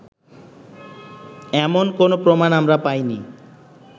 এমন কোনো প্রমাণ আমরা পাইনি